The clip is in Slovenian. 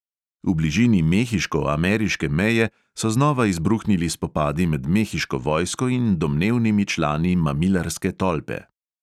V bližini mehiško-ameriške meje so znova izbruhnili spopadi med mehiško vojsko in domnevnimi člani mamilarske tolpe.